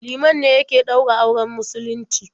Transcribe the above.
Liman ne yake ɗaura auren musulunci.